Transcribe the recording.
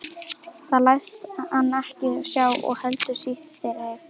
Það læst hann ekki sjá og heldur sitt strik.